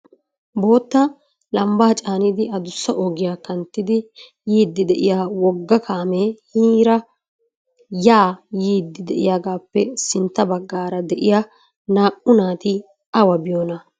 Bootta lambba caannidi addussa ogiyaa kanttidi yiidi de'iyaa wogga kaame hiniira ya yiidi de'iyaagappe sintta baggaara de'iyaa naa''u naati awa biyoona?